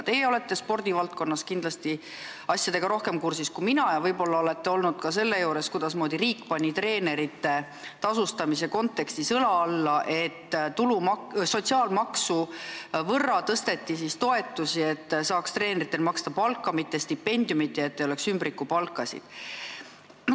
Teie olete spordivaldkonna asjadega kindlasti rohkem kursis kui mina ja võib-olla olete olnud ka juures, kui riik pani treenerite tasustamisele sellega õla alla, et toetusi suurendati sotsiaalmaksu võrra, et saaks treeneritele maksta palka, mitte stipendiumit, ja et ei oleks ümbrikupalkasid.